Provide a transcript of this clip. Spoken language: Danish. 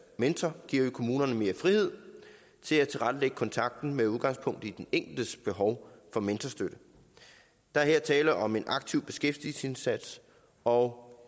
mentor giver vi kommunerne mere frihed til at tilrettelægge kontakten med udgangspunkt i den enkeltes behov for mentorstøtte der er her tale om en aktiv beskæftigelsesindsats og